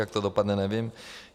Jak to dopadne, nevím.